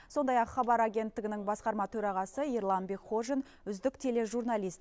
сондай ақ хабар агенттігінің басқарма төрағасы ерлан бекхожин үздік тележурналист